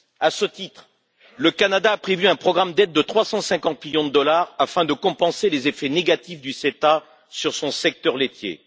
À ce titre, le Canada a prévu un programme d'aide de 350 millions de dollars afin de compenser les effets négatifs du CETA sur son secteur laitier.